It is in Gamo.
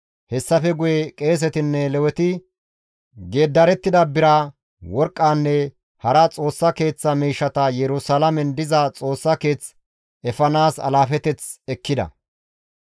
Hessafe guye qeesetinne Leweti geeddarettida bira, worqqanne hara Xoossa Keeththa miishshata Yerusalaamen diza Xoossa Keeth efanaas alaafeteth ekkida.